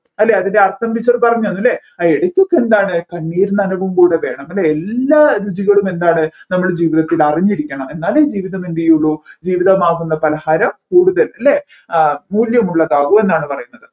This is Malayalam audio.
അല്ലെ അതിൻ്റെ അർത്ഥം teacher പറഞ്ഞു തന്നു അല്ലെ ആ ഇടക്കൊക്കെ എന്താണ് കണ്ണീർ നനവും കൂടെ വേണം അല്ലെ എല്ലാ രുചികളും എന്താണ് നമ്മളെ ജീവിതത്തിൽ അറിഞ്ഞിരിക്കണം എന്നാലേ ജീവിതം എന്തുചെയ്യുള്ളു ജീവിതമാകുന്ന പലഹാരം കൂടുതൽ അല്ലെ മൂല്യമുല്ലാതാവു എന്നാണ് പറയുന്നത്